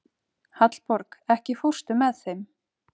Hallborg, ekki fórstu með þeim?